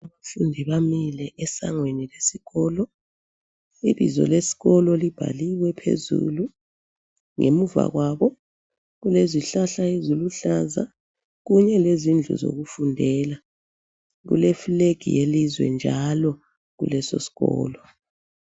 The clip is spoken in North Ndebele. Abafundi bamile esangweni lesikolo. Ibizo lesikolo libhaliwe phezulu. Ngemuva kwabo kulezihlahla eziluhlaza, kunye lezindlu zokufundela, kule flag yelizwe njalo kulesosikolo.